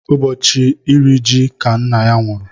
Ụbọchị iri ji ka nna ya nwụrụ.